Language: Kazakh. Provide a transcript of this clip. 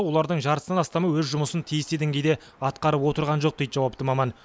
олардың жартысынан астамы өз жұмысын тиісті деңгейде атқарып отырған жоқ дейді жауапты маман